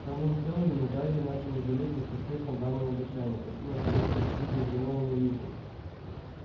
в канун хэллоуина гарри начал жалеть о поспешно данном обещании пойти на приём к почти безголовому нику